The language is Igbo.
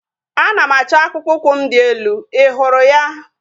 Ana m achọ akpụkpọ ụkwụ m dị elu. Ị hụrụ ya?